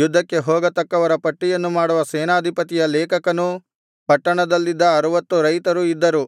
ಯುದ್ಧಕ್ಕೆ ಹೋಗತಕ್ಕವರ ಪಟ್ಟಿಯನ್ನು ಮಾಡುವ ಸೇನಾಧಿಪತಿಯ ಲೇಖಕನು ಪಟ್ಟಣದಲ್ಲಿದ್ದ ಅರುವತ್ತು ರೈತರು ಇದ್ದರು